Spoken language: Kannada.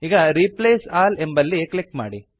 ಈಗ ರಿಪ್ಲೇಸ್ ಆಲ್ ಎಂಬಲ್ಲಿ ಕ್ಲಿಕ್ ಮಾಡಿ